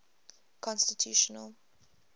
constitutional